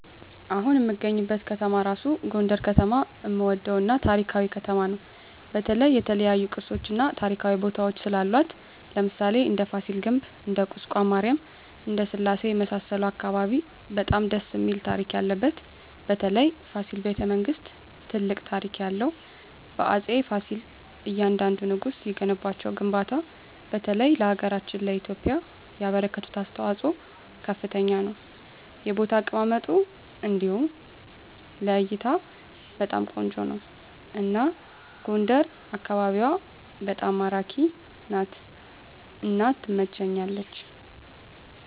አሁን እምገኝበት ከተማ እራሡ ጎንደር ከተማ እምወደው እና ታሪካዊ ከተማ ነው በተለይ የተለያዮ ቅርሶች እና ታሪካዊ ቦታወች ስላሏት ለምሣሌ እንደ ፍሲል ግቢ እንደ ቁስቋም ማሪያም እንደ ስላሴ የመሣሠሉት አካባቢ በጣም ደስ እሚል ታሪክ ያለበት በተለይ ፋሲል በተ መንግስት ትልቅ ታሪክ ያለው በአፄ ፍሲል እያንደንዱ ንጉስ የገነቧቸው ግንባታ በተለይ ለሀገራችን ለኢትዮጵያ ያበረከቱት አስተዋፅኦ ከፍተኛ ነው የቦታ አቀማመጡ እንዲሁ ለእይታ በጣም ቆንጆ ነው አና ጎንደር አካቢዋ በጣም ማራኪ ናት እና ትመቸኛለች